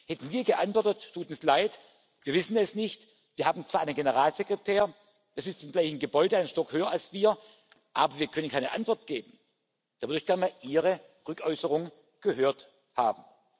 sind. Hätten wir geantwortet, es tut uns leid, wir wissen es nicht, wir haben zwar einen Generalsekretär, der sitzt im gleichen Gebäude, ein Stockwerk höher als wir, aber wir können keine Antwort geben da würde ich gern mal Ihre Rückäußerung gehört haben.